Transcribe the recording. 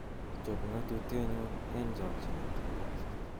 chob ng'atutienyun en chokyinet